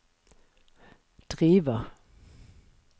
driver